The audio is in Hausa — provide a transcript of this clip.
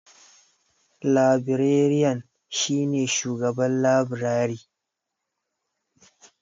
Labireriyan shi ne shugaban labirari.